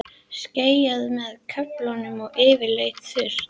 Skýjað með köflum og yfirleitt þurrt